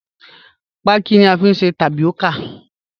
Paki ni à fiń sẹ̀ tápíọ́kà.